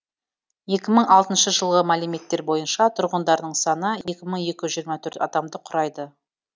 екі мың алтыншы жылғы мәліметтер бойынша тұрғындарының саны екі мың екі жүз жиырма төрт адамды құрайды